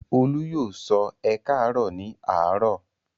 Olú yóò sọ "ẹ káàárọ̀" ní àárọ̀?